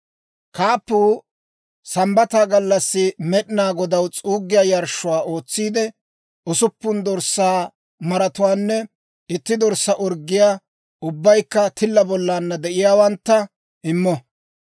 «‹ «Kaappuu Sambbata gallassi Med'inaa Godaw s'uuggiyaa yarshshuwaa ootsiide, usuppun dorssaa maratuwaanne itti dorssaa orggiyaa, ubbaykka tilla bollaanna de'iyaawantta immo.